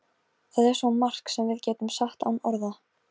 Voða gaman að leika sér saman